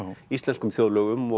íslenskum þjóðlögum og